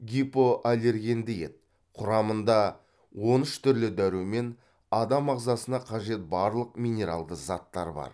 гипоаллергенді ет құрамында он үш түрлі дәрумен адам ағзасына қажет барлық минералды заттар бар